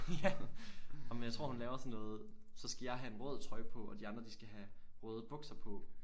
Ja ej men jeg tror hun laver sådan noget så skal jeg have en rød trøje på og de andre de skal have røde bukser på